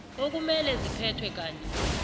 okumele ziphethwe kanye